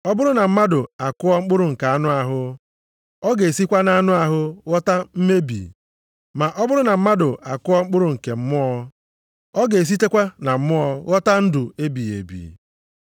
Ọ bụrụ na mmadụ akụọ mkpụrụ nke anụ ahụ, ọ ga-esikwa nʼanụ ahụ ghọta mmebi, ma ọ bụrụ na mmadụ akụọ mkpụrụ nke Mmụọ, ọ ga-esitekwa na Mmụọ ghọta ndụ ebighị ebi.